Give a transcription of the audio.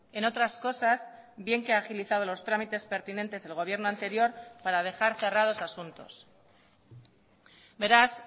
en otras cosas bien que ha agilizado los trámites pertinentes del gobierno anterior para dejar cerrados asuntos beraz